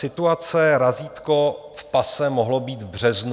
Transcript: Situace - razítko v pase mohlo být v březnu.